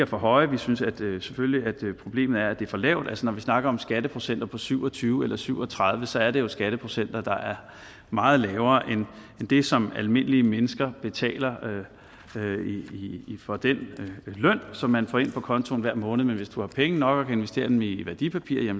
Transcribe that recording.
for høje vi synes vi synes selvfølgelig problemet er at det er for lavt når vi snakker om skatteprocenter på syv og tyve eller syv og tredive så er det jo skatteprocenter der er meget lavere end det som almindelige mennesker betaler for den løn som man får ind på kontoen hver måned men hvis du har penge nok investere dem i værdipapirer